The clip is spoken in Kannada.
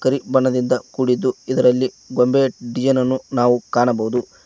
ಕರಿ ಬಣ್ಣದಿಂದ ಕೂಡಿದ್ದು ಇದರಲ್ಲಿ ಗೊಂಬೆಯ ಡಿಸೈನ್ ಅನ್ನು ನಾವು ಕಾಣಬಹುದು.